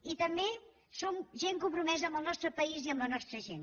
i també som gent compromesa amb el nostre país i amb la nostra gent